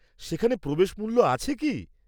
সেখানে প্রবেশ মূল্য আছে কি?